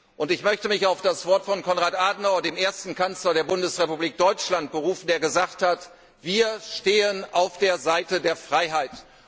Und ich möchte mich auf das Wort von Konrad Adenauer, dem ersten Kanzler der Bundesrepublik Deutschland, berufen, der gesagt hat Wir stehen auf der Seite der Freiheit.